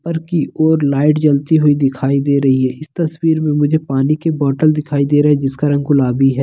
ऊपर की ओर लाइट जलती हुई दिखाई दे रही है इस तस्वीर मे मुझे पानी की बोटल दिखाई दे रहा है जिसका रंग गुलाबी है।